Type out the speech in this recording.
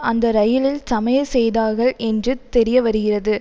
அந்த ரயிலில் சமையல் செய்தார்கள் என்று தெரியவருகிறது